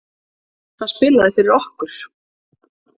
Hann spilaði fyrir okkur!